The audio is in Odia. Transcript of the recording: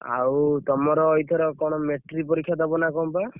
ଆଉ ତମର ଏଇଥର କଣ matric ପରୀକ୍ଷା ଦବ ନା କଣ ବା?